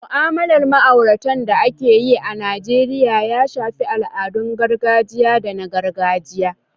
Mu'amalar ma'aurata da ake yi a Najeriya ya shafi al'adun gargajiya da na gargajiya.